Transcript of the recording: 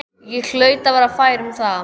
Ég hlaut að vera fær um það.